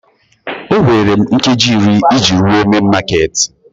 O nwere m nkeji iri iji rue main makeeti